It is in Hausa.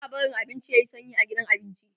ba'a barin abinci yayi sanyi a gidan abinci